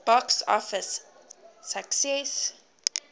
box office success